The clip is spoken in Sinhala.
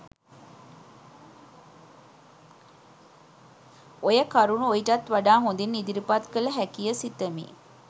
ඔය කරුණු ඔයිටත් වඩා හොඳින් ඉදිරිපත් කළ හැකිය සිතමි